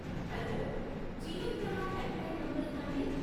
Hello, Jeevan Pramaan helpline నంబరే నాండీ?